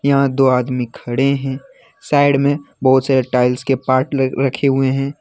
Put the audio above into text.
यहां दो आदमी खड़े हैं साइड में बहोत सारे टाइल्स के पाठ रखे हुए हैं।